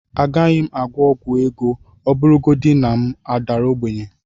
Agaghị m agwọ ọgwụ ego ọbụlagodi na m daa ogbenye